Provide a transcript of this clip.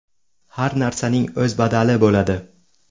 Har narsaning o‘z badali bo‘ladi.